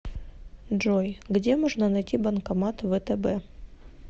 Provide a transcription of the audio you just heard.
джой где можно найти банкомат втб